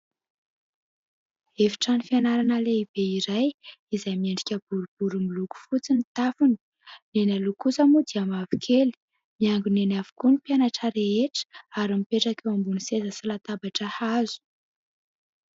Efitrano fianarana lehibe iray izay miendrika boribory miloko fotsy ny tafony. Eny aloha kosa moa dia mavokely. Miangona eny avokoa ny mpianatra rehetra ary mipetraka eo ambony seza sy latabatra hazo.